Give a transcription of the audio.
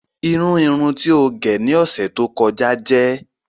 Irùn irùn tí o gé ni ọṣẹ tó kọ̀jà jẹ̀.